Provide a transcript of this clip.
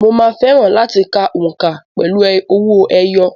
Mo máa fẹ́ràn láti ka òǹkà pẹ̀lú owó ẹyọ.